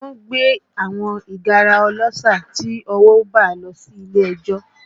Wọ́n gbé àwọn ìgárá ọlọ́ṣà tí ọwọ́ bà lọ sí ilé ẹjọ́